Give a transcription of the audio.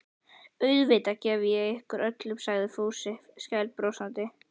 Auðvitað gef ég ykkur öllum sagði Fúsi skælbrosandi.